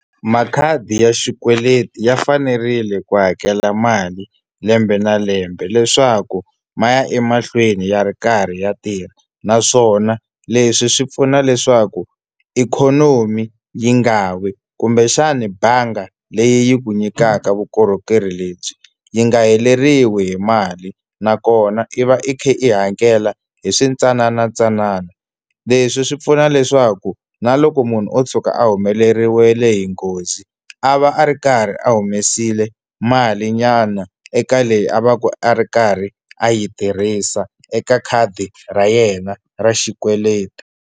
Makhadi ya xikweleti ya fanerile ku hakela mali lembe na lembe leswaku ma ya emahlweni ya ri karhi ya tirha, naswona leswi swi pfuna leswaku ikhonomi yi nga wi kumbexani bangi leyi ku nyikaka vukorhokeri lebyi yi nga heleriwe hi mali nakona i va i kha i hakela hi swintsanana ntsanana. Leswi swi pfuna leswaku na loko munhu o tshuka a humeleriwe hi nghozi a va a ri karhi a humesile malinyana eka leyi a va ka a ri karhi a yi tirhisa eka khadi ra yena ra xikweleti.